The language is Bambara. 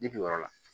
Bibi yɔrɔ la